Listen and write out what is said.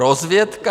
Rozvědka?